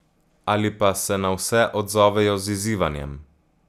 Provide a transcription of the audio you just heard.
Ali pa se na vse odzovejo z izzivanjem.